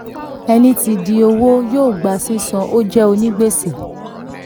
ẹni tí ń di owó yóó gba sísan ó jẹ́ onígbèsè.